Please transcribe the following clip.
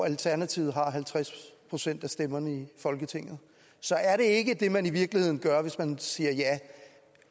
alternativet har halvtreds procent af stemmerne i folketinget så er det ikke det man i virkeligheden gør hvis man siger